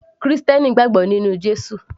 krìstẹ́nì gbàgbọ́ nínú Jésù